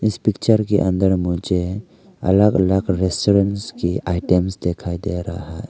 इस पिक्चर के अंदर मुझे अलग अलग रेस्टोरेंट्स की आइटम्स दिखाई दे रहा --